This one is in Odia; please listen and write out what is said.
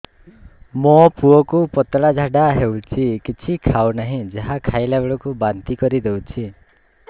ମୋ ପୁଅ କୁ ପତଳା ଝାଡ଼ା ହେଉଛି କିଛି ଖାଉ ନାହିଁ ଯାହା ଖାଇଲାବେଳକୁ ବାନ୍ତି କରି ଦେଉଛି